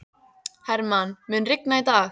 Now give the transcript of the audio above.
Hermann, mun rigna í dag?